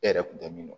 E yɛrɛ kun tɛ min dɔn